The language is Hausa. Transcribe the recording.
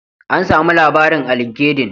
An sami labarin a linkendin.